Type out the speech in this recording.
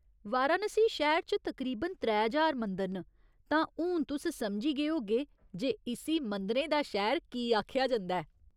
वाराणसी शैह्‌र च तकरीबन त्रै ज्हार मंदर न, तां हून तुस समझी गे होग्गे जे इस्सी मंदिरें दा शैह्‌र कीह् आखेआ जंदा ऐ।